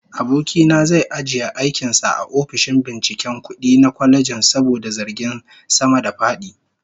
Aboki na zai ajiye aikin sa a ofishin binciken kudi na kwalejin saboda zargin sama-da-fadi